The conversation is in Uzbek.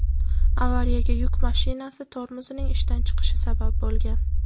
Avariyaga yuk mashinasi tormozining ishdan chiqishi sabab bo‘lgan.